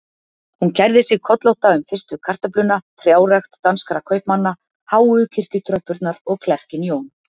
Hún kærði sig kollótta um fyrstu kartöfluna, trjárækt danskra kaupmanna, háu kirkjutröppurnar og klerkinn Jón